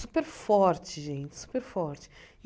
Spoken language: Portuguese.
Superforte, gente, superforte.